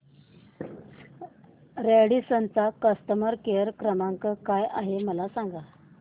Radisson चा customer care क्रमांक काय आहे मला सांगा